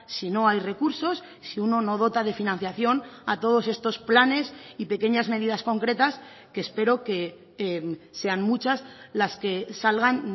si no hay recursos si uno no dota de financiación a todos estos planes y pequeñas medidas concretas que espero que sean muchas las que salgan